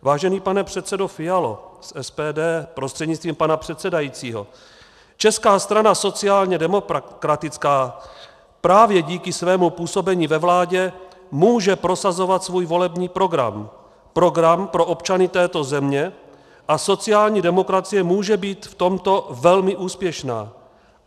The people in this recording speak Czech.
Vážený pane předsedo Fialo z SPD prostřednictvím pana předsedajícího, Česká strana sociálně demokratická právě díky svému působení ve vládě může prosazovat svůj volební program, program pro občany této země, a sociální demokracie může být v tomto velmi úspěšná.